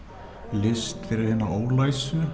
list fyrir hina